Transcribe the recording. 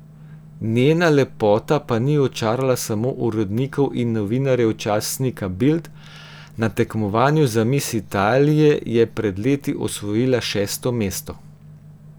Njena lepota pa ni očarala samo urednikov in novinarjev časnika Bild, na tekmovanju za mis Italije je pred leti osvojila šesto mesto.